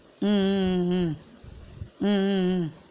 உம் உம் உம் உம் உம் உம் உம்